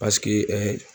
Paseke